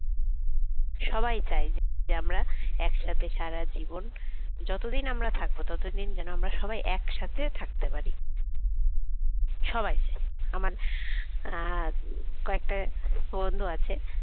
সবাই চায় যে আমরা একসাথে সারা জীবন যতদিন আমরা থাকবো ততদিন যেন আমরা সবাই একসাথে থাকতে পারি সবাই আমার কয়েকটা বন্ধু আছে